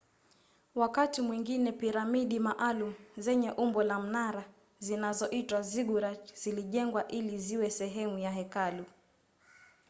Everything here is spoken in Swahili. wakati mwingine piramidi maalum zenye umbo la mnara zinazoitwa ziggurat zilijengwa ili ziwe sehemu ya hekalu